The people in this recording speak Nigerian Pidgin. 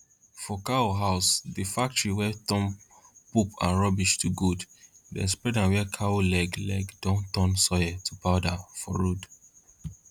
for cow house dey factory wey turn poop and rubbish to gold dem spread am where cow leg leg don turn soil to powder for road